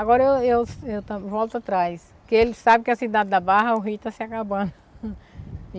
Agora eu eu eu volto atrás, porque ele sabe que a cidade da Barra, o Rio está se acabando.